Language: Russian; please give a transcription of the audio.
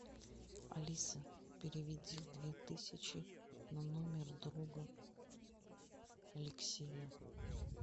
алиса переведи две тысячи на номер друга алексея